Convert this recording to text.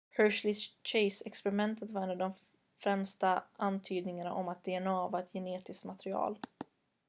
hershey-chase-experimentet var en av de främsta antydningarna om att dna var ett genetiskt material